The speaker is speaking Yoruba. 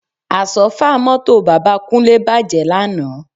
Àsọ́fà mọ́tò bàbá Kúnlé bàjẹ́ lánàá